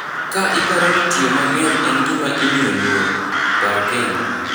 Ka ipar ni tio mangeny en gima imio luor, par kendo.